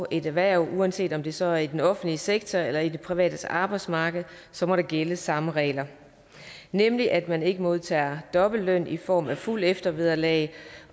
et erhverv uanset om det så er i den offentlige sektor eller på det private arbejdsmarked så må der gælde samme regler nemlig at man ikke modtager dobbelt løn i form af fuldt eftervederlag